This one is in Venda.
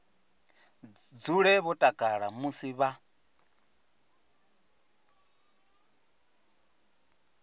dzule vho takala musi vha